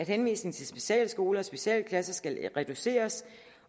henvisning til specialskoler og specialklasser skal reduceres